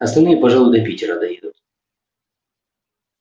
остальные пожалуй до питера доедут